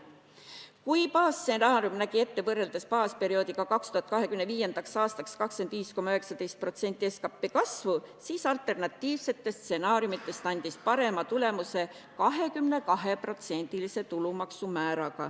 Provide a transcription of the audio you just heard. Kui baasstsenaarium nägi ette võrreldes baasperioodiga 2025. aastaks 25,19% SKT kasvu, siis alternatiivsetest stsenaariumidest andis parema tulemuse 22%-line tulumaksu määr.